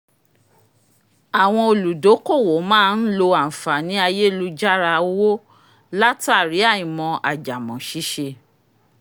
àwọn olùdókòwò maa ń lo ànfààní ayélujára owó látàrí àìmọ̀ àjàmọ̀ ṣíṣe